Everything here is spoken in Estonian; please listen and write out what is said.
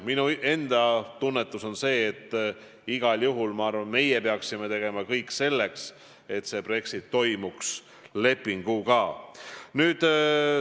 Minu enda tunnetus on, et igal juhul me peaksime tegema kõik selleks, et Brexit toimuks lepingu alusel.